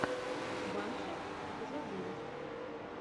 банши эпизод девять